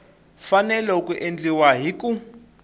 fanele ku endliwa hi ku